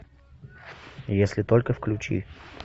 если только включи